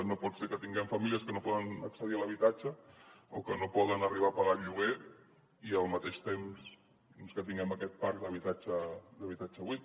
no pot ser que tinguem famílies que no poden accedir a l’habitatge o que no poden arribar a pagar el lloguer i al mateix temps doncs que tinguem aquest parc d’habitatge buit